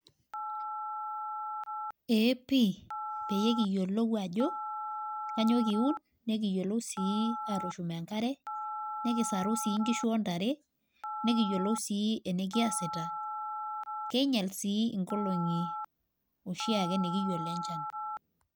Eee pii pee ekiyiolou ajo kainyioo kiun, nikiyiolu sii atuun enkare, nikisaru sii nkishu ontare nikiyioloi sii enikiasita kigial sii inkolong'i oshiake nikiyiol enchan.